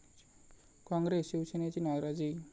काँग्रेस, शिवसेनेची नाराजी